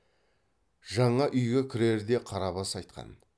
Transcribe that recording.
жаңа үйге кірерде қарабас айтқан